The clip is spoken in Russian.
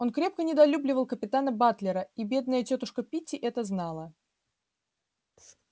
он крепко недолюбливал капитана батлера и бедная тётушка питти это знала